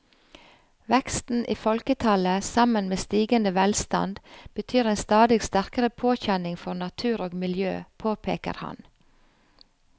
Veksten i folketallet sammen med stigende velstand betyr en stadig sterkere påkjenning for natur og miljø, påpeker han.